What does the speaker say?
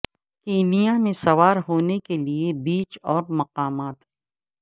Kenya میں سوار ہونے کے لئے بیچ اور مقامات